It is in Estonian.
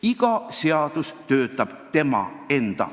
Iga seadus võib omas ajas töötada.